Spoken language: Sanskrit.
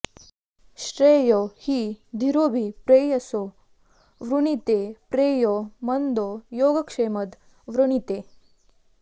श्रेयो हि धीरोऽभि प्रेयसो वृणीते प्रेयो मन्दो योगक्षेमद् वृणीते